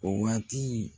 O waati